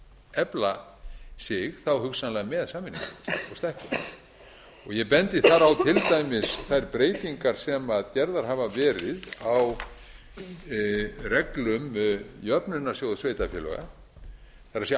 efla sig hugsanlega með samvinnuhreyfingunni og ég bendi þar á til dæmis þær breytingar sem gerðar hafa verið á reglum jöfnunarsjóðs sveitarfélaga það er